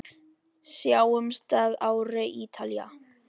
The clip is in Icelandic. Sjáumst að ári, Ítalía.